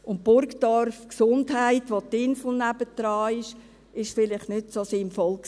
in Burgdorf die Gesundheit, wo das Inselspital in Bern nebenan ist, das war vielleicht nicht so sinnvoll.